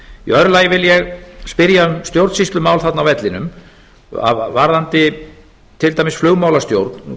öðru lagi vil ég spyrja um stjórnsýslumál þarna á vellinum varðandi til dæmis flugmálastjórn